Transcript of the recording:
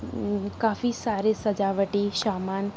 उम्म काफी सारे सजाबटी सामन --